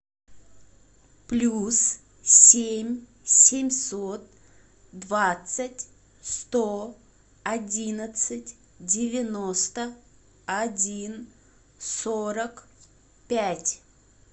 плюс семь семьсот двадцать сто одиннадцать девяносто один сорок пять